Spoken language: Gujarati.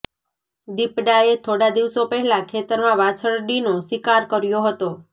દીપડાએ થોડા દિવસો પહેલા ખેતરમાં વાછરડીનો શિકાર કર્યો હતો